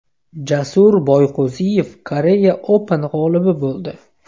Jasur Boyqo‘ziyev Korea Open g‘olibi bo‘ldi.